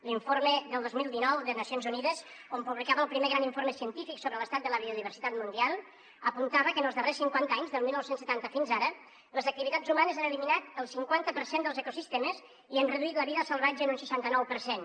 l’informe del dos mil dinou de nacions unides que publicava el primer gran informe científic sobre l’estat de la biodiversitat mundial apuntava que en els darrers cinquanta anys del dinou setanta fins ara les activitats humanes han eliminat el cinquanta per cent dels ecosistemes i han reduït la vida salvatge en un seixanta nou per cent